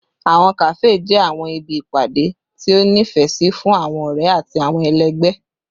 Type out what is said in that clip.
Awọn kafe jẹ awọn ibi ipade ti o nifẹ si fun awọn ọrẹ ati awọn ẹlẹgbẹ